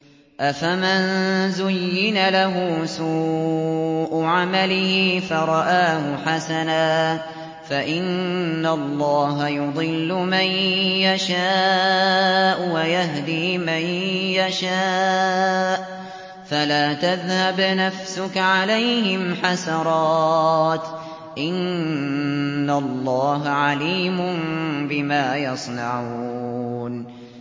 أَفَمَن زُيِّنَ لَهُ سُوءُ عَمَلِهِ فَرَآهُ حَسَنًا ۖ فَإِنَّ اللَّهَ يُضِلُّ مَن يَشَاءُ وَيَهْدِي مَن يَشَاءُ ۖ فَلَا تَذْهَبْ نَفْسُكَ عَلَيْهِمْ حَسَرَاتٍ ۚ إِنَّ اللَّهَ عَلِيمٌ بِمَا يَصْنَعُونَ